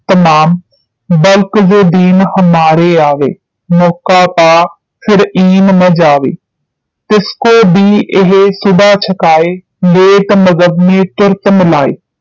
ਤਮਾਮ ਬਲਕਿ ਜੁ ਦੀਨ ਹਮਾਰੇ ਆਵੇ ਮੌਕਾ ਪਾ ਫਿਰ ਇਨ ਮੈਂ ਜਾਵੇ ਤਿਸ ਕੋ ਭੀ ਇਹ ਸਧਾ ਛੁਕਾਇ ਲੇਤ ਮਜ਼੍ਹਬ ਮੈਂ ਤੁਰਤ ਮਿਲਾਇ